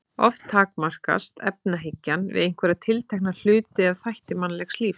Oft takmarkast efahyggjan við einhverja tiltekna hluti eða þætti mannlegs lífs.